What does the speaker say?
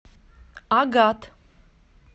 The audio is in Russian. агат